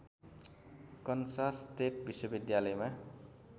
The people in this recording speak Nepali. कन्सास स्टेट विश्वविद्यालयमा